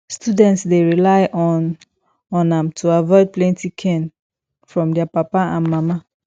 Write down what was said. student dey rely on on am to avoid plenty cain from dia papa and mama